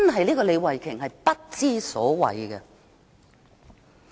這個李慧琼議員真的不知所謂。